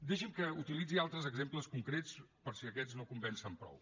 deixi’m que utilitzi altres exemples concrets per si aquests no convencen prou